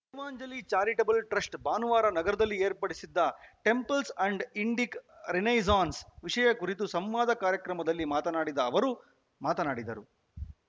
Bhagavanjali charitable trust ಭಾನುವಾರ ನಗರದಲ್ಲಿ ಏರ್ಪಡಿಸಿದ್ದ ಟೆಂಪಲ್ಸ್ ಅಂಡ್ ಇಂಡಿಕ್ ರಿನೈಸ್ಸಾನ್ಸ್ ವಿಷಯ ಕುರಿತು ಸುಮವಾದ ಕಾರ್ಯಕ್ರಮದಲ್ಲಿ ಮಾತನಾಡಿದ ಅವರು ಮಾತನಾಡಿದರು